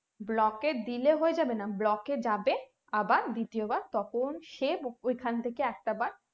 block এ দিলে হয়ে যাবেনা block এ যাবে আবার দ্বিতীয়বার তখন সে ওখান থেকে একটা বার